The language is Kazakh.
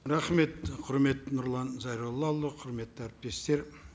рахмет құрметті нұрлан зайроллаұлы құрметті әріптестер